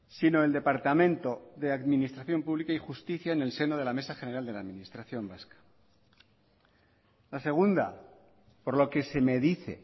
sino el departamento de administración pública y justicia en el seno de la mesa general de la administración vasca la segunda por lo que se me dice